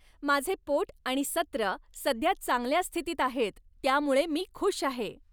माझे पोट आणि सत्र सध्या चांगल्या स्थितीत आहेत त्यामुळे मी खुश आहे.